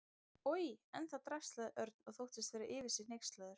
Oj, en það drasl sagði Örn og þóttist vera yfir sig hneykslaður.